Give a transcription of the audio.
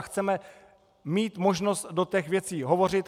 A chceme mít možnost do těch věcí hovořit.